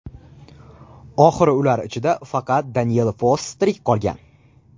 Oxiri ular ichida faqat Daniel Foss tirik qolgan.